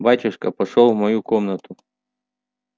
батюшка пошёл в мою комнату